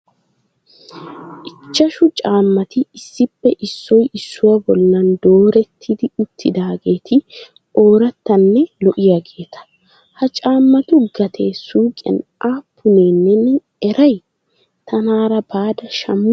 Ichashshu caammati issippe issoy issuwa bollan doorerridi uttidaageti ooratanne lo"iyaageeta. Ha caammatu gatee suuqiyan aappune neen eray? Taanara baada shammute?